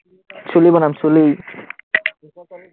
চুলি বনাম চুলি,